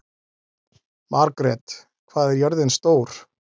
Margret, hvað er jörðin stór?